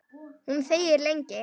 Hún þegir lengi.